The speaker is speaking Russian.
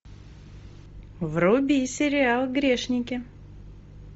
вруби сериал грешники